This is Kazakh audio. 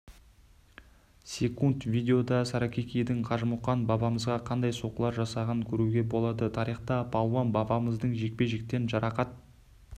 секунд видеода саракикидің қажымұқан бабамызға қандай соққылар жасағын көруге болады тарихта палуан бабамыздың жекпе-жектен жарақат